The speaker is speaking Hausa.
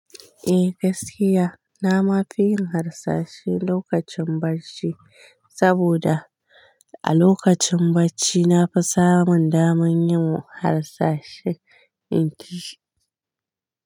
Eh gaskiya, na ma fi yin harsashe lokacin barci saboda a lokacin bacci na fi samun daman yin harsashe in kisi.